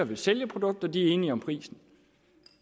vil sælge et produkt og de er enige om prisen